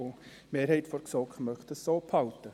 Die Mehrheit der GSoK möchte diese so beibehalten.